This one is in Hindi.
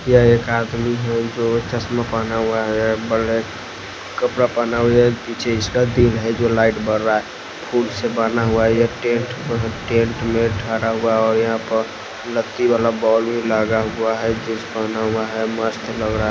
ये एक आदमी हैजो चश्मा पहना हुआ है प ब्लैक कपड़ा पहना हुआ है पीछे इसका दिल है जो लाइट बर रहा है फूट से बना हुआ है ये टेंट टेंट में झड़ा हुआ और यहां पर लग्गी वाला बॉल लगा हुआ है जींस पहना हुआ है मस्त लग रहा।